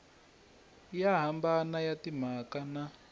yo hambana ya timhaka na